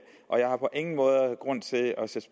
og jeg har på ingen måde grund til at sætte